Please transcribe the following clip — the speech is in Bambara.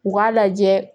U k'a lajɛ